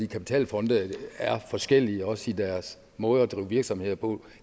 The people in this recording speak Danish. kapitalfonde er forskellige også i deres måde at drive virksomhed på